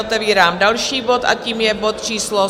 Otevírám další bod a tím je bod číslo